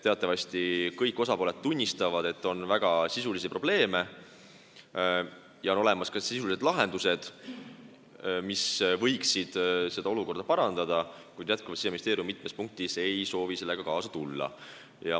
Teatavasti, kõik osapooled tunnistavad, et on väga sisulisi probleeme ja on olemas ka sisulised lahendused, mis võiksid olukorda parandada, kuid Siseministeerium ei soovi jätkuvalt mitmes punktis sellega kaasa tulla.